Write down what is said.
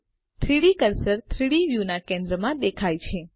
3ડી કર્સર 3ડી વ્યુના કેન્દ્રમાં દેખાય છે